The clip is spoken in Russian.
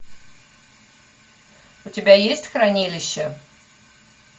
у тебя есть хранилище